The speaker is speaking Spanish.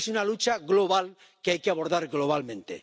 Es una lucha global que hay que abordar globalmente.